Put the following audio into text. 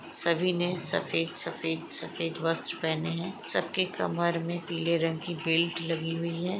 सभी ने सफेद सफेद सफेद वस्र पहने है सब के कमर में पीले रंग की बेल्ट लगी हुई है।